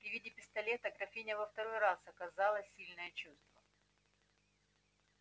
при виде пистолета графиня во второй раз оказала сильное чувство